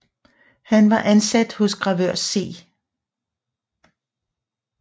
Han var ansat hos gravør C